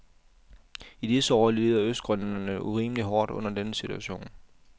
I disse år lider østgrønlænderne urimeligt hårdt under denne situation.